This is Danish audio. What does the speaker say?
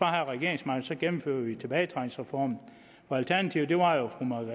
regeringsmagten så gennemfører vi tilbagetrækningsreformen alternativet var jo